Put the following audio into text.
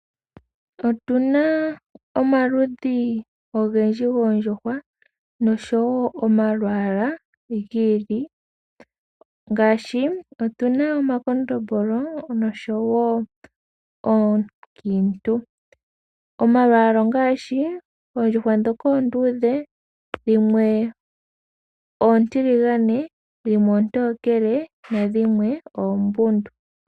Otuna omaludhi ogendji goondjuhwa noshowo omalwaala gi ili nogi ili , ngaashi otuna omakondombolo noshowo oonkiintu. Omalwaala ongaashi oondjuhwa ndhoka oonduudhe dhimwe oontiligane dhimwe oontokele nadhimwe oombundu.